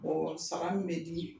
Mɔgɔ saba min bɛ dimin.